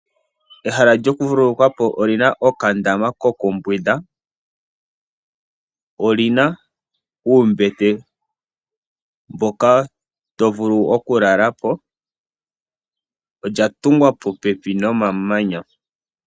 Ehala lyoku vululukwapo olina oka ndama koku mbwinda, olina uumbete mboka to vulu oku lalapo, olya tungwa popepi nomamanya.